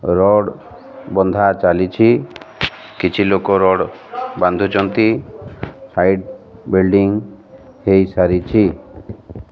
Rod ବନ୍ଧା ଚାଲିଛି କିଛି ଲୋକ ରଡ୍ ବାନ୍ଧୁଚନ୍ତି ସାଇଡ୍ ବିଲ୍ଡିଙ୍ଗ ହେଇ ସାରିଛି।